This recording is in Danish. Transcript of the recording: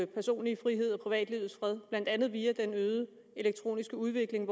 personlige frihed og privatlivets fred blandt andet via den øgede elektroniske udvikling